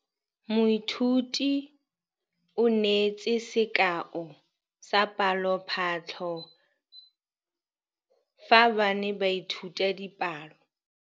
Moithuti o neetse sekaô sa palophatlo fa ba ne ba ithuta dipalo.